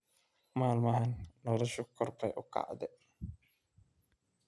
Maalmahan noloshu kor bey uu kacde.